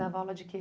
dava aula de quê?